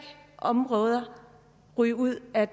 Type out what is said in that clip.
områder ryge ud af